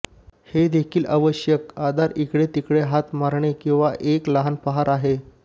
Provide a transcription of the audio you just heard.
हे देखील आवश्यक आधार इकडे तिकडे हात मरणे किंवा एक लहान पहार आहे